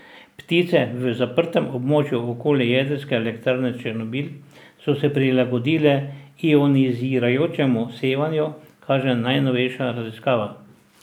Ptice v zaprtem območju okoli jedrske elektrarne Černobil so se prilagodile ionizirajočemu sevanju, kaže najnovejša raziskava.